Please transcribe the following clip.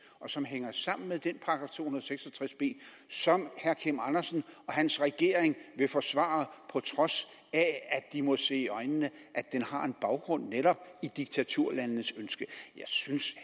og som hænger sammen med den § to og seks og tres b som herre kim andersen og hans regering vil forsvare på trods af at de må se i øjnene at den har en baggrund netop i diktaturlandenes ønske jeg synes